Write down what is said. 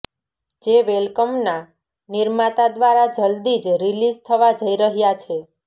જે વેલકમના નિર્માતા દ્વારા જલદી જ રિલીઝ થવા જઇ રહ્યા છે